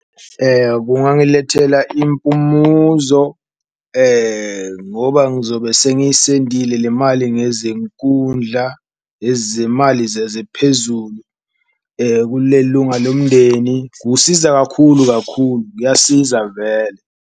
Kungangilethela impumuzo ngoba ngizobe sengiyisendile le mali ngezenkundla ezemali zezephezulu, kule lunga lomndeni, kusiza kakhulu kakhulu kuyasiza vele.